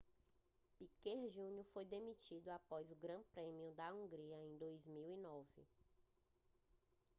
piquet jr foi demitido após o grande prêmio da hungria de 2009